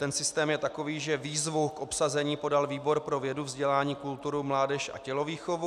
Ten systém je takový, že výzvu k obsazení podal výbor pro vědu, vzdělání, kulturu, mládež a tělovýchovu.